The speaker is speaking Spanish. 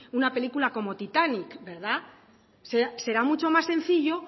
una película como titanic verdad será mucho más sencillo